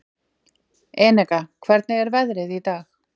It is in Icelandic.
Eneka, hvernig er veðrið í dag?